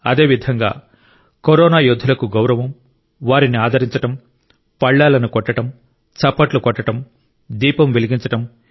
అదే విధంగా కరోనా యోధులకు గౌరవం వారిని ఆదరించడం ప్లేట్లనుపళ్లాలను కొట్టడం చప్పట్లు కొట్టడం దీపం వెలిగించడం